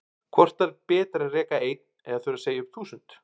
Hvort er betra að reka einn eða þurfa að segja upp þúsund?